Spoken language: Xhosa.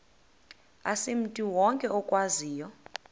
asimntu wonke okwaziyo